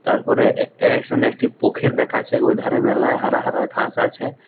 তারপরে এ-এ-খানে একটি পখির দেখাচ্ছে ও ধারে মেলায় হারা হারা ঘাস আছে।